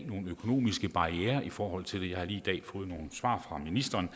nogle økonomiske barrierer i forhold til det jeg har lige i dag fået nogle svar fra ministeren